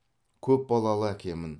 көпбалалы әкемін